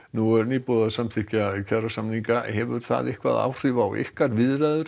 nú er búið að samþykkja hefur hann áhrif á ykkar viðræður